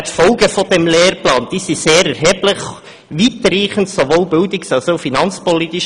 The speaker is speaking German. Die Folgen dieses Lehrplans sind sehr erheblich und weitreichend, sowohl bildungs- als auch finanzpolitisch.